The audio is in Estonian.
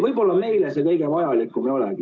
Võib-olla meile see kõige vajalikum ei olegi.